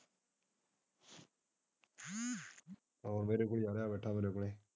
ਆਹੋ ਮੇਰੇ ਕੋਲ ਹੀ ਆ ਰਹਿਆ ਹੈ ਗਾਠਾਂ ਮੇਰੇ ਕੋਲ।